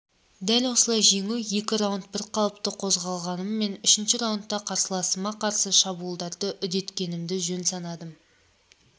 дәл осылай жеңу екі раунд бірқалыпты қозғалғаныммен үшінші раундта қарсыласыма қарсы шабуылдарды үдеткенді жөн санадым